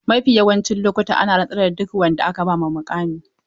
Mafi yawancin lokuta ana rantsar da duk wanda aka ba muƙami.